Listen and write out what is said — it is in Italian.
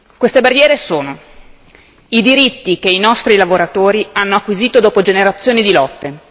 Queste barriere sono i diritti che i nostri lavoratori hanno acquisito dopo generazioni di lotte